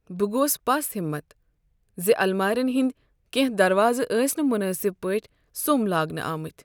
بہٕ گوس پس ہمت زِ المارین ہٕنٛدِ کیٚنٛہہ دروازٕ آسِۍ نہٕ مناسب پٲٹھۍ سوٚم لاگنہ آمتۍ۔